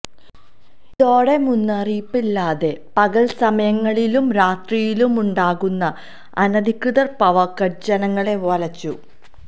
ഇതോടെ മുന്നറിയിപ്പില്ലാതെ പകല് സമയങ്ങളിലും രാത്രിയിലുമുണ്ടാകുന്ന അനധികൃത പവര്കട്ട് ജനങ്ങളെ വലച്ചു